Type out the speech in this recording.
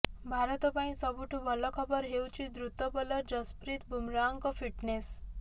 ଭାରତ ପାଇଁ ସବୁଠୁ ଭଲ ଖବର ହେଉଛି ଦ୍ରୁତ ବୋଲର ଯଶ୍ପ୍ରୀତ ବୁମରାଙ୍କ ଫିଟ୍ନେସ୍